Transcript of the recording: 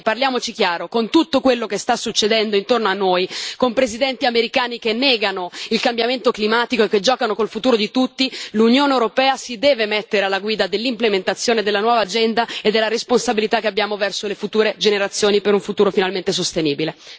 Colleghi, parliamoci chiaro con tutto quello che sta succedendo intorno a noi, con presidenti americani che negano il cambiamento climatico e che giocano con il futuro di tutti, l'Unione europea si deve mettere alla guida dell'implementazione della nuova agenda e della responsabilità che abbiamo verso le future generazioni, per un futuro finalmente sostenibile.